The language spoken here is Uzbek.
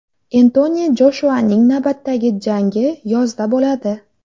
Entoni Joshuaning navbatdagi jangi yozda bo‘ladi.